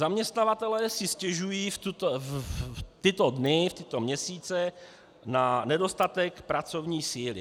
Zaměstnavatelé si stěžují v tyto dny, v tyto měsíce na nedostatek pracovní síly.